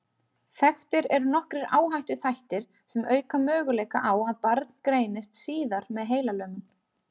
Þekktir eru nokkrir áhættuþættir sem auka möguleika á að barn greinist síðar með heilalömun.